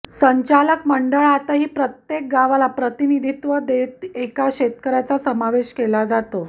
संचालक मंडळातही प्रत्येक गावाला प्रतिनिधित्व देत एका शेतकऱ्याचा समावेश केला जातो